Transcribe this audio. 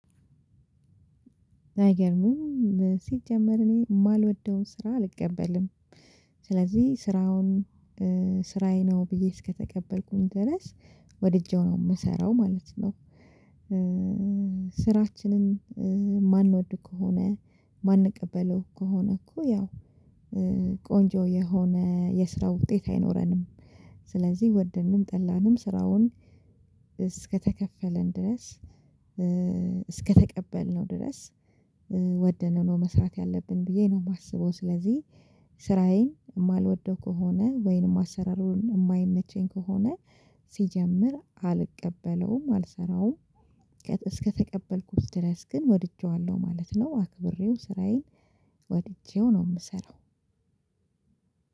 አይገርምም። ሲጀመር እኔ የማልወደውን ስራ አልቀበልም ስለዚህ ስራውን ስራዬ ነው ብዬ እስከተቀበልኩኝ ድረስ ወድጄው ነው የምሰራው ማለት ነው። ስራችንን የማንወድ ከሆነ የማንቀበለው ከሆነ እኮ ያው ቆንጆ የሆነ የስራው ውጤት አይኖረንም። ስለዚህ ወደድንም ጠላንም ስራውን እስከተከፈልን ድረስ እስከተቀበልነው ድረስ ወደነው ነው መስራት ያለብን ብዬ ነው የማስበው። ስለዚህ ስራዬን የማልወደው ከሆነ ወይንም አሰራሩን የማይመቸኝ ከሆነ ሲጀምር አልቀበለውም አልሰራውም። እስከተቀበልኩት ድረስ ግን ወድጄዋለሁ ማለት ነው አክብሬው ስራዬን ወድጄው ነው የምሰራው።